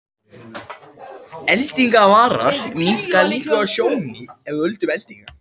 Eldingavarar minnka líkur á tjóni af völdum eldinga.